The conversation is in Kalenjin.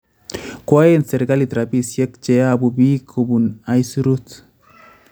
Kwaen serikalit rabisiek cheyobu iik kobuun syuruut